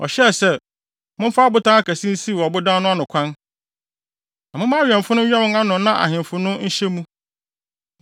ɔhyɛɛ sɛ, “Momfa abotan akɛse nsiw ɔbodan no ano kwan, na momma awɛmfo no nwɛn ano na ahemfo no nhyɛ mu.